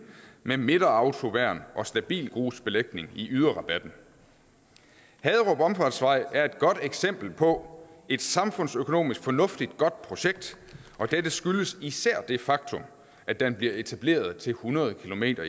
med midterautoværn og stabilgrusbelægning i yderrabatten haderup omfartsvej er et godt eksempel på et samfundsøkonomisk fornuftigt godt projekt og dette skyldes især det faktum at den bliver etableret til hundrede kilometer